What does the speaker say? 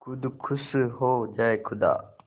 खुद खुश हो जाए खुदा